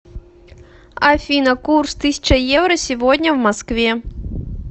афина курс тысяча евро сегодня в москве